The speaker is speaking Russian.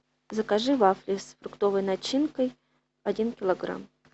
закажи вафли с фруктовой начинкой один килограмм